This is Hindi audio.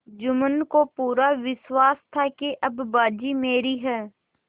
जुम्मन को पूरा विश्वास था कि अब बाजी मेरी है